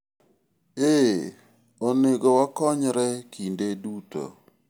eeh ,onego wakonyre kinde duto